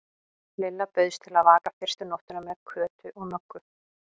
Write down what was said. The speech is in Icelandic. Lilla bauðst til að vaka fyrstu nóttina með Kötu og Möggu.